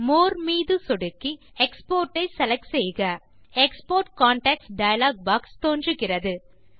மோர் மீது சொடுக்கி எக்ஸ்போர்ட் ஐ செலக்ட் செய்க எக்ஸ்போர்ட் கான்டாக்ட்ஸ் டயலாக் பாக்ஸ் தோன்றுகிறது